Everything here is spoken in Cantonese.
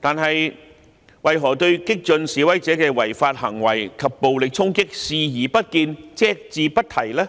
但為何對激進示威者的違法行為及暴力衝擊視而不見、隻字不提呢？